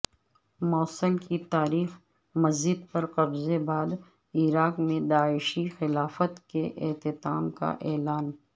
موصل کی تاریخ مسجد پر قبضے بعد عراق میں داعشی خلافت کے اختتام کا اعلان